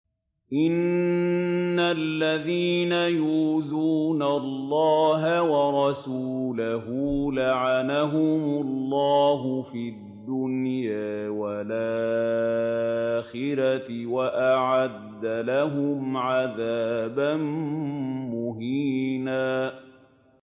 إِنَّ الَّذِينَ يُؤْذُونَ اللَّهَ وَرَسُولَهُ لَعَنَهُمُ اللَّهُ فِي الدُّنْيَا وَالْآخِرَةِ وَأَعَدَّ لَهُمْ عَذَابًا مُّهِينًا